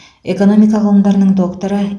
экономика ғылымдарының докторы